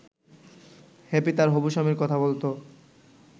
happy তার হবু-স্বামীর কথা বলতো